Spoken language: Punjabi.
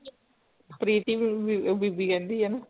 ਪ੍ਰੀਤਿ ਬੀਬੀ ਕਹਿੰਦੀ ਅ ਨਾ